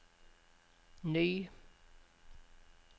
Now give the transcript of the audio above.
ny